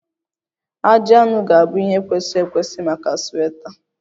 Ajị anụ ga-abụ ihe kwesịrị ekwesị maka sweta